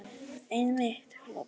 Einmitt, hló Björg.